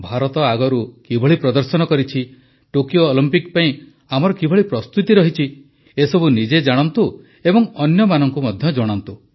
ଭାରତ ଆଗରୁ କିଭଳି ପ୍ରଦର୍ଶନ କରିଛି ଟୋକିଓ ଅଲିମ୍ପିକ ପାଇଁ ଆମର କିଭଳି ପ୍ରସ୍ତୁତି ରହିଛି ଏସବୁ ନିଜେ ଜାଣନ୍ତୁ ଏବଂ ଅନ୍ୟମାନଙ୍କୁ ମଧ୍ୟ ଜଣାନ୍ତୁ